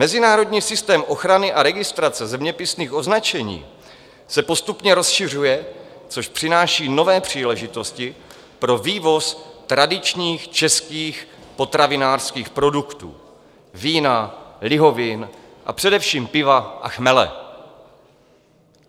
Mezinárodní systém ochrany a registrace zeměpisných označení se postupně rozšiřuje, což přináší nové příležitosti pro vývoz tradičních českých potravinářských produktů - vína, lihovin, a především piva a chmele.